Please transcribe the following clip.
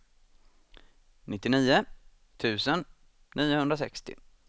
nittionio tusen niohundrasextio